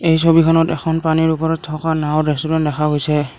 এই ছবিখনত এখন পানীৰ ওপৰত থকা নাওঁ ৰেষ্টোৰেন্ত দেখা গৈছে।